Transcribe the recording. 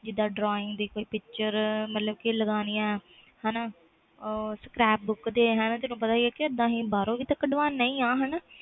ਜਿੰਦਾ drawing ਦੀ ਕੋਈ picture ਮਤਬਲ ਲਾਗਣੀਆਂ ਹਾਣਾ scrapbook ਤੇ ਤੈਨੂੰ ਪਤਾ ਬਾਹਰੋਂ ਕੱਢਵਾਦੇ ਆ